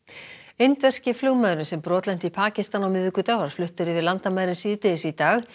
indverski flugmaðurinn sem brotlenti í Pakistan á miðvikudag var fluttur yfir landamærin síðdegis í dag